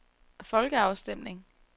folkeafstemning